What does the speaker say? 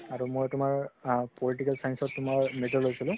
আৰু মই তুমাৰ political science ত তুমাৰ major লৈছিলো